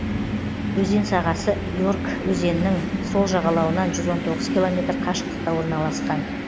өзен сағасы ерг өзенінің сол жағалауынан жүз он тоғыз километр қашықтықта орналасқан